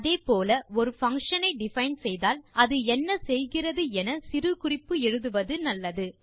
அதே போல ஒரு பங்ஷன் ஐ டிஃபைன் செய்தால் அது என்ன செய்கிறது என சிறு குறிப்பு எழுதுவது நல்லது